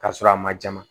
K'a sɔrɔ a ma jama